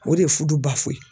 O de ye fudu .